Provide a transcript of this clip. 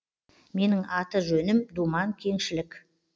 менің аты жөнім думан кеңшілік